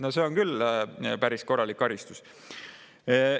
No see on küll päris korralik karistus!